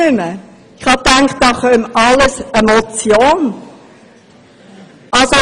Ich verstehe die Welt nicht mehr!